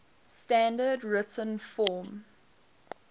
standard written form